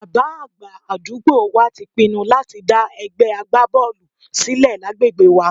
Bàbá àgbà àdúgbò wa ti pinnu láti dá ẹgbẹ́ agbábọ́ọ̀lù sílẹ̀ lágbègbè wa